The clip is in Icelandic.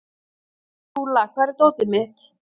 Skúla, hvar er dótið mitt?